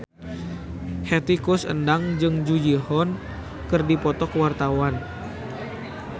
Hetty Koes Endang jeung Jung Ji Hoon keur dipoto ku wartawan